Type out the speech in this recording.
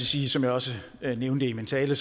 sige som jeg også nævnte i min tale